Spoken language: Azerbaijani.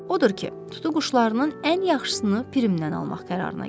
Odur ki, tutuquşlarının ən yaxşısını Pirimdən almaq qərarına gəlir.